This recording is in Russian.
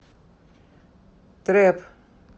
трэп